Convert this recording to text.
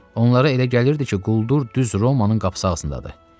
Onlara elə gəlirdi ki, quldur düz Romanın qapı ağzındadır.